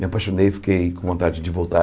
Me apaixonei, fiquei com vontade de voltar.